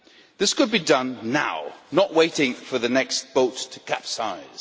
This could be done now, not waiting for the next boat to capsize.